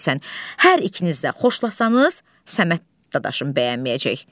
Hər ikiniz də xoşlasanız, Səməd dadaşım bəyənməyəcək.